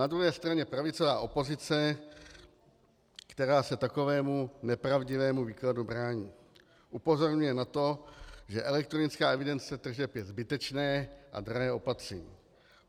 Na druhé straně pravicová opozice, která se takovému nepravdivému výkladu brání, upozorňuje na to, že elektronická evidence tržeb je zbytečné a drahé opatření.